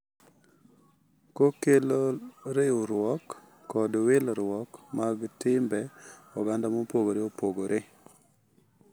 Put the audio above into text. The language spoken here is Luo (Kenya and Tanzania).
Kokelo riwruok kod wilruok mag timbe oganda mopogore opogore.